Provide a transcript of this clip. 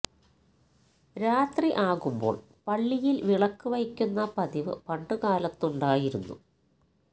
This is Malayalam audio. രാത്രി ആകുമ്പോൾ പള്ളിയിൽ വിളക്ക് വയ്ക്കുന്ന പതിവ് പണ്ട് കാലത്തുണ്ടായിരുന്നു